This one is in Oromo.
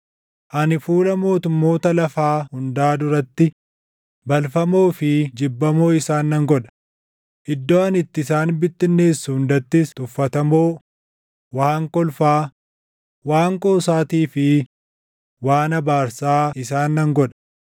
Ani fuula mootummoota lafaa hundaa duratti balfamoo fi jibbamoo isaan nan godha; iddoo ani itti isaan bittinneessu hundattis tuffatamoo, waan kolfaa, waan qoosaatii fi waan abaarsaa isaan nan godha.